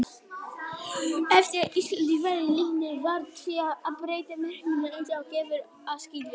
Eftir að Ísland varð lýðveldi varð því að breyta merkinu eins og gefur að skilja.